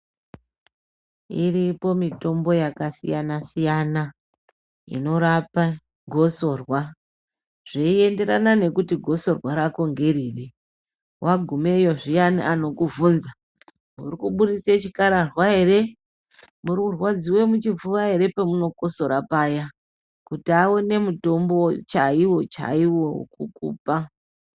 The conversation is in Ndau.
Iripo mitombo yakasiyana-siyana, inorapa gosorwa zveinderana nekuti gosorwa rako ngeriri. Wagumeyo zviyani vanokubvunza,'' urikuburitse chikararwa ere, urikurwandziwe muchifuva ere'', pamunokosora paya, kuti vaone mutombo chaiwo chaiwo wekukupa.